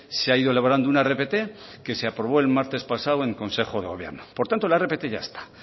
se ha ido elaborando una rpt que se aprobó el martes pasado en consejo de gobierno por tanto la rpt ya está